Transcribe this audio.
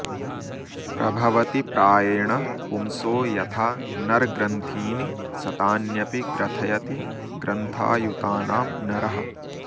प्रभवति प्रायेण पुंसो यथा नर्ग्रन्थीनि शतान्यपि ग्रथयति ग्रन्थायुतानां नरः